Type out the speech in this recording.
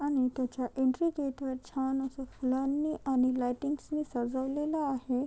आणि त्याच्या entry gate वर छान अस फुलांनी आणि लायटिंगस नि सजवलेल आहे.